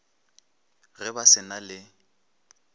ge ba se na le